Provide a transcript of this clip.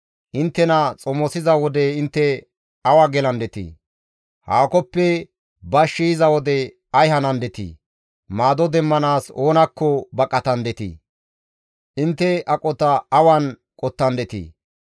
Inttena xomosiza wode intte awa gelandetii? Haakoppe bashshi yiza wode ay hanandetii? Maado demmanaas oonakko baqatandetii? Intte aqota awan qottandetii?